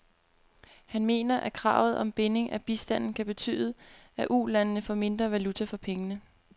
Han mener, at kravet om binding af bistanden kan betyde, at ulandene får mindre valuta for pengene.